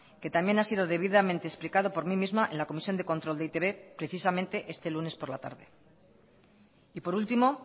que también ha sido debidamente explicado por mí misma en la comisión de control de e i te be precisamente este lunes por la tarde y por último